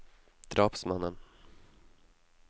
drapsmannen